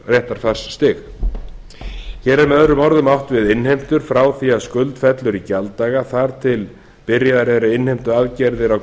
á réttarfarsstig hér er með öðrum orðum átt við innheimtur frá því að skuld fellur í gjalddaga þar til byrjaðar eru innheimtuaðgerðir á